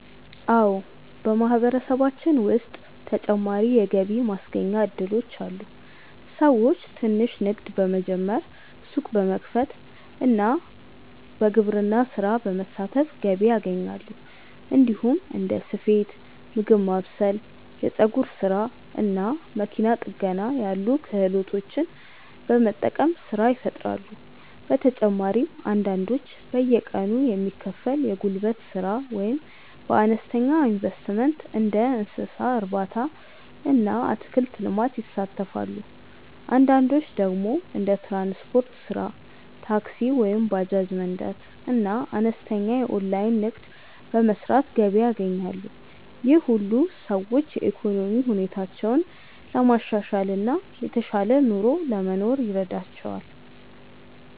አዎ፣ በማህበረሰባችን ውስጥ ተጨማሪ የገቢ ማስገኛ እድሎች አሉ። ሰዎች ትንሽ ንግድ በመጀመር፣ ሱቅ በመክፈት እና በግብርና ስራ በመሳተፍ ገቢ ያገኛሉ። እንዲሁም እንደ ስፌት፣ ምግብ ማብሰል፣ የፀጉር ስራ እና መኪና ጥገና ያሉ ክህሎቶችን በመጠቀም ስራ ይፈጥራሉ። በተጨማሪም አንዳንዶች በየቀኑ የሚከፈል የጉልበት ስራ ወይም በአነስተኛ ኢንቨስትመንት እንደ እንስሳ እርባታ እና አትክልት ልማት ይሳተፋሉ። አንዳንዶች ደግሞ እንደ ትራንስፖርት ስራ (ታክሲ ወይም ባጃጅ መንዳት) እና አነስተኛ የኦንላይን ንግድ በመስራት ገቢ ያገኛሉ። ይህ ሁሉ ሰዎች የኢኮኖሚ ሁኔታቸውን ለማሻሻል እና የተሻለ ኑሮ ለመኖር ይረዳቸዋል።